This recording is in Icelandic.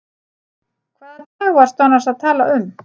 Hvaða dag varstu annars að tala um?